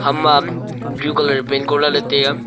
ama blue colour paint koh lah ley tiya.